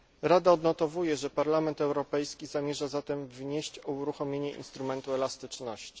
Rada odnotowuje, że Parlament Europejski zamierza zatem wnieść o uruchomienie instrumentu elastyczności.